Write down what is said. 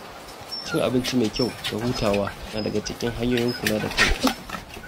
Cin abinci mai kyau da hutawa na daga cikin hanyoyin kula da kanka.